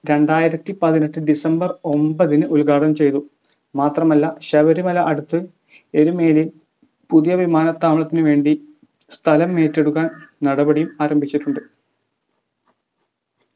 രണ്ടായിരത്തി പത്തിനെട്ട് december ഒമ്പത് നു ഉദ്ഘാടനം ചെയ്തു. മാത്രമല്ല ശബരിമല അടുത്ത് എരുമേലി പുതിയ വിമാനത്താവളത്തിന് വേണ്ടി സ്ഥലം ഏറ്റെടുക്കാൻ നടപടി ആരംഭിച്ചിട്ടുണ്ട്